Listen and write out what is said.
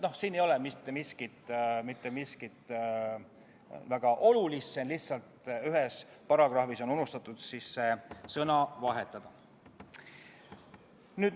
Siin ei ole mitte midagi väga olulist, lihtsalt ühes paragrahvis on unustatud sõna vahetada.